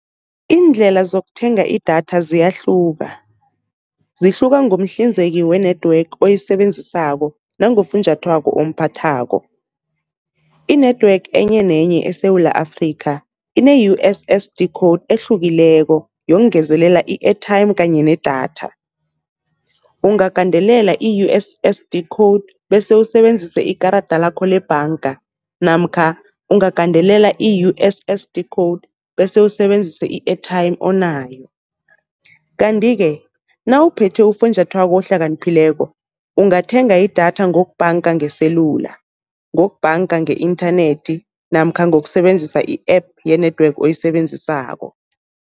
Iindlela zokuthenga idatha ziyahluka, zihluka ngomhlinzeki we-network oyisebenzisako nangofunjathwako omphathako. I-network enye nenye eSewula Afrika, ine-U_S_S_D code ehlukileko yokungezelela i-airtime kanye ne-datha. Ungagandelela i-U_S_S_D code bese usebenzise ikarada lakho lebhanga namkha ungagandelela i-U_S_S_D code bese usebenzise i-airtime onayo. Kanti-ke nawuphethe ufunjathwako ohlakaniphileko ungathenga idatha ngokubhanga ngeselula, ngokubhanga nge-inthanethi namkha ngokusebenzisa i-app ye-network oyisebenzisako.